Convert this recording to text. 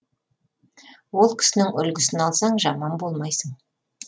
ол кісінің үлгісін алсаң жаман болмайсың